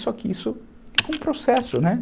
Só que isso é um processo, né?